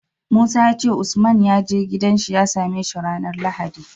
Musa yace usman yaje gidan shi ya same shi ranar lahadi